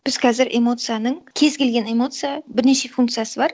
біз қазір эмоцияның кез келген эмоция бірнеше функциясы бар